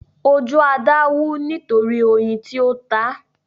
Ojú Ada wú nítorí oyin tí ó tá.